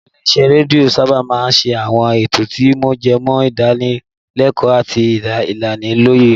Àwọn ilé-isẹ́ rédíò sábà máa ń ṣe àwọn ètò tí ó jẹmọ́ ìdánilẹ́kọ̀ọ́ àti ìlanilọ́yẹ̀